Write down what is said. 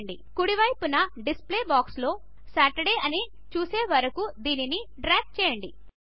కుడి వైపున డిస్ప్లే బాక్స్లో సాటర్డే అని చూసే వరకు దానిని డ్రాగ్ చేయండి